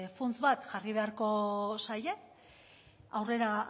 funts bat jarri beharko zaie aurrera